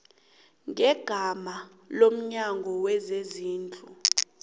ngegama lomnyango wezezindlu